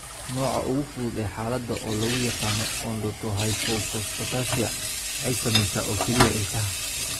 Nooca ugu fudud ee xaaladda, oo loo yaqaan odontohypophosphatasia, waxay saamaysaa oo keliya ilkaha.